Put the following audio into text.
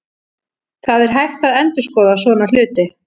Það er hægt að endurskoða svona hluti.